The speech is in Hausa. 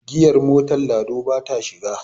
giyar mator lado ba ta shiga